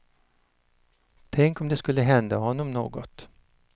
Tänk om det skulle hända honom något.